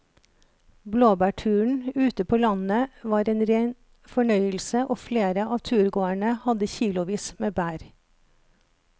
Blåbærturen ute på landet var en rein fornøyelse og flere av turgåerene hadde kilosvis med bær.